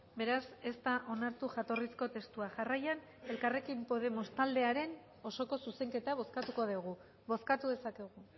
beraz ez da onartu jatorrizko testua jarraian elkarrekin podemos taldearen osoko zuzenketa bozkatuko dugu bozkatu dezakegu